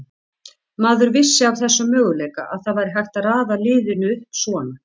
Maður vissi af þessum möguleika, að það væri hægt að raða liðinu upp svona.